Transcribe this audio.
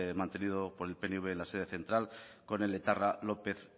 mantenido por el pnv en la sede central con el etarra lópez